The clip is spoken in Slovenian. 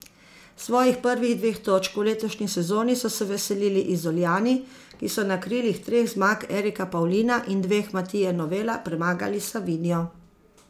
Svojih prvih dveh točk v letošnji sezoni so se veselili Izoljani, ki so na krilih treh zmag Erika Pavlina in dveh Matije Novela premagali Savinjo.